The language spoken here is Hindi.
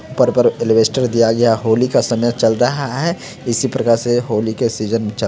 ऊपर पर एल्बेस्टर दिया गया होली का समय चल रहा है। इसी प्रकार से होली के सीजन--